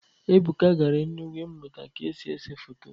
Ebuka gara Enugwu ịmụta ka esi ese foto.